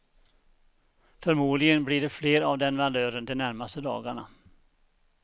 Förmodligen blir det fler av den valören de närmaste dagarna.